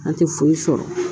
An tɛ foyi sɔrɔ